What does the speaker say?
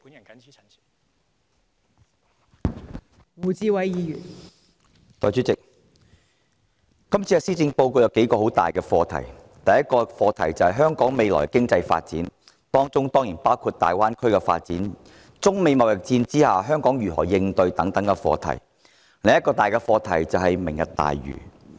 代理主席，今年的施政報告有數個很大的課題，其一涉及香港未來的經濟發展，當中包括粵港澳大灣區的發展，以及香港如何應對中美貿易戰等課題；另一大課題則是"明日大嶼"。